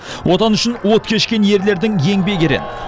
отан үшін от кешкен ерлердің еңбегі ерен